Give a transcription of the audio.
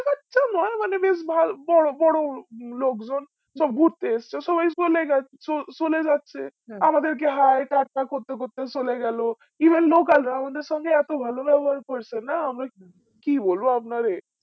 মানে বেশ ভা বড় বড় লোকজন সব ঘুরতে এসেছে সবাই চলে যাচ্ছে চো~চলে যাচ্ছে আমাদের কে hii টাটা করতে করতে চলে গেল even local রাও আমাদের সঙ্গে এত ভালো ব্যাবহার করেছে না আমরা কি বলবো আপনারে